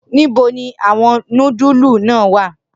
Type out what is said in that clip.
Nibo ni awọn nudulu naa wa?